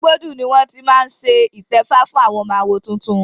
Igbódù ni wọ́n ti máa ṣe ìtẹ́fá fún ọmọ àwo tuntun.